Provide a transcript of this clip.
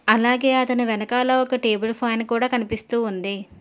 అలాగే అతని వెనకాల ఒక టేబుల్ ఫ్యాన్ కూడా కనిపిస్తూ ఉంది.